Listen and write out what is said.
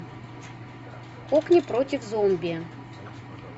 кокни против зомби